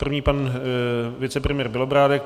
První pan vicepremiér Bělobrádek.